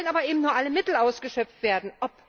Es sollen aber eben nur alle Mittel ausgeschöpft werden.